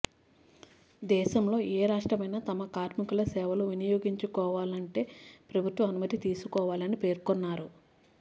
దేశంలో ఏ రాష్ట్రమైనా తమ కార్మకుల సేవలు వినియోగించుకోవాలంటే ప్రభుత్వ అనుమతి తీసుకోవాలని పేర్కొన్నారు